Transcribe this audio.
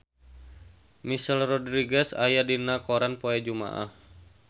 Michelle Rodriguez aya dina koran poe Jumaah